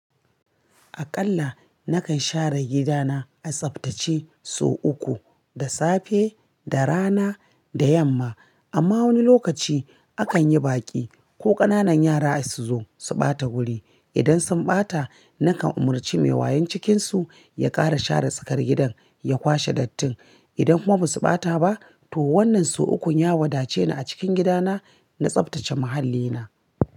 Aƙalla nakan share gida na, a tsaftace sau uku, da safe, da rana, da yamma. Amma wani lokaci a kan yi baƙi, ko ƙananan yara su zo, su ɓata wuri. Idan sun ɓata, nakan umarci mai wayan cikin su, ya ƙara share tsakar gidan, ya kwashe dattin. Idan kuma ba su ɓata ba, to wannan sau ukun ya wadace a cikin gida na, na tsaftace muhallina.